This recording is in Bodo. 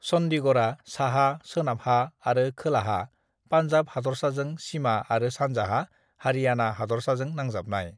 "चन्डीगढ़आ साहा, सोनाबहा आरो खोलाहा पान्जाब हादरसाजों सिमा आरो सानजाहा हरियाणा हादरसाजों नांजाबनाय।"